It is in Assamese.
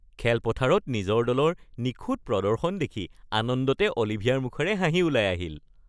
খেলপথাৰত নিজৰ দলৰ নিখুঁত প্ৰদৰ্শন দেখি আনন্দতে অলিভিয়াৰ মুখেৰে হাঁহি ওলাই আহিল